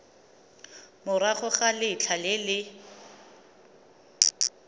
morago ga letlha le le